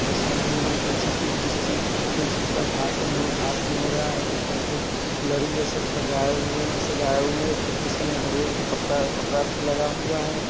इस वीडियो में कोई चीज़ किस चीज़ कोई चीज़ का भाषण भाषण हो रहा है| ऊपर से अ लरी जैसा सजाए हुए सजाया हुए हैं| खिड़की सब में हरियर कपड़ा कपड़ा से लगा हुआ है।